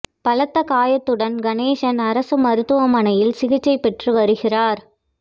பலத்த காயத்துடன் கணேசன் அரசு மருத்துவமனையில் சிகிச்சை பெற்று வருகிறாா்